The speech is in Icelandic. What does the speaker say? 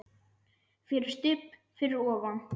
FYRIR STUBB fyrir ofan.